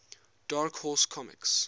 dark horse comics